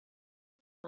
Þín, Guðrún Lísa.